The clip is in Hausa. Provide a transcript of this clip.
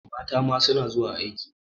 Mata ma suna zuwa aiki.